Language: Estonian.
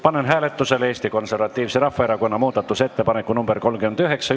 Panen hääletusele Eesti Konservatiivse Rahvaerakonna muudatusettepaneku nr 39.